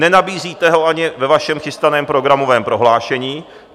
Nenabízíte ho ani ve vašem chystaném programovém prohlášení.